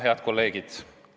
Head kolleegid!